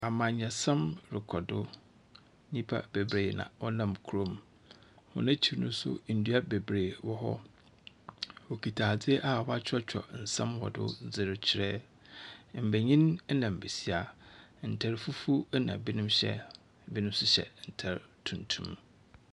Amanyɔsɛm rekɔ do. Nyipa bebree na wɔnam kurom. Hɔn ekyi no so ndua bebree wɔ hɔ. Wokita adze a wakyerɛkyerɛw nsɛm wɔ do dze re kyɛrɛ. Mbanyin na mbesia, ntar fufuw na binom hyɛ, ebinom nso hyɛ ntar tuntum.